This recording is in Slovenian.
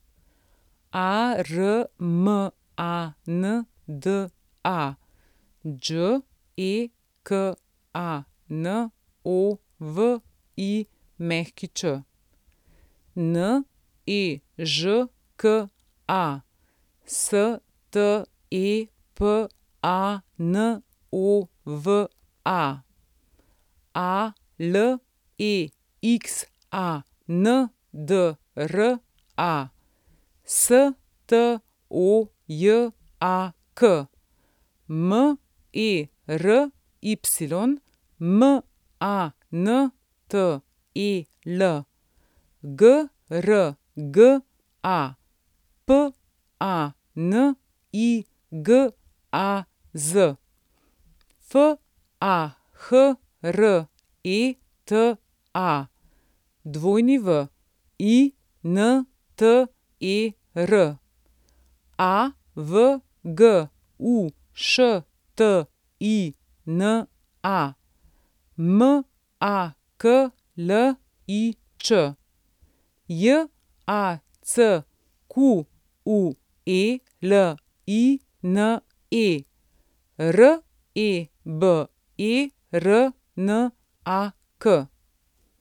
Armanda Đekanović, Nežka Stepanova, Alexandra Stojak, Mery Mantel, Grga Panigaz, Fahreta Winter, Avguština Maklič, Jacqueline Rebernak.